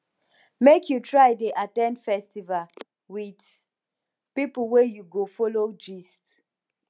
make you try dey at ten d festival wit pipo wey you go folo gist